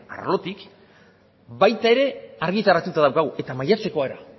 arlotik baita ere argitaratuta daukagu eta maiatzekoa ere